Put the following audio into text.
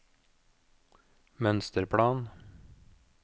mønsterplan